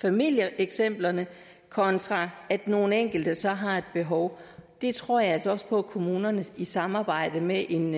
familieeksemplerne kontra at nogle enkelte så har et behov det tror jeg altså også på at kommunerne i samarbejde med en